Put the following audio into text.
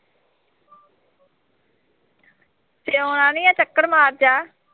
ਤੇ ਹੁਣ ਆ ਨੀਂ ਆ ਕੱਕੜ ਮਾਰ ਜਾ